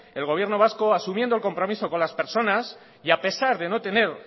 el gobierno vasco asumiendo el compromiso con las personas y a pesar de no tener